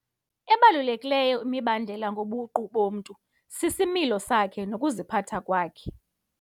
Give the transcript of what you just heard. Ebalulekileyo imibandela ngobuqu bomntu sisimilo sakhe nokuziphatha kwakhe.